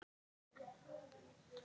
Steinn getur átt við